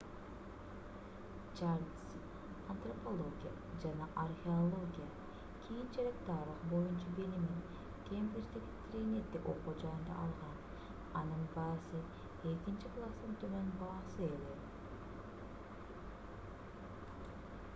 чарльз антропология жана археология кийинчерээк тарых боюнча билимин кембриждеги тринити окуу жайында алган анын баасы 2:2 экинчи класстын төмөн баасы эле